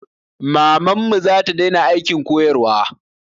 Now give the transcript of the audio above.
Mamanmu zata daina aikin koyarwa